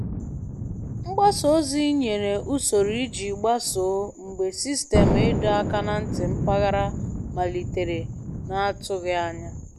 Mgbasa ozi nyere usoro iji gbasoo mgbe sistemụ ịdọ aka ná ntị mpaghara malitere na atụghị anya